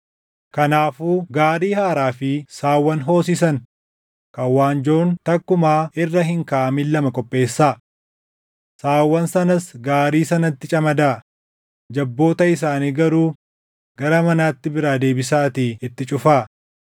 “Kanaafuu gaarii haaraa fi saawwan hoosisan kan waanjoon takkumaa irra hin kaaʼamin lama qopheessaa. Saawwan sanas gaarii sanatti camadaa; jabboota isaanii garuu gara manaatti biraa deebisaatii itti cufaa.